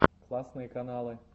классные каналы